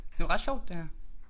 Det var ret sjovt det her